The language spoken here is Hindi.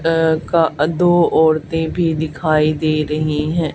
अह का दो औरतें भी दिखाई दे रही हैं।